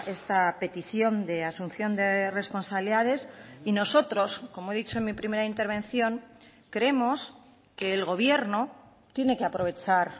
esta petición de asunción de responsabilidades y nosotros como he dicho en mi primera intervención creemos que el gobierno tiene que aprovechar